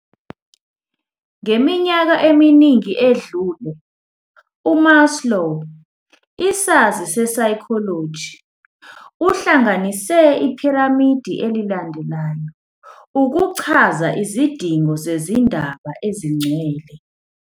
Ngeminyaka eminingi edlule uMaslow, isazi sesayikholoji uhlanganise iphiramidi elilandelayo ukuchaza izidingo zezindaba ezingcwele.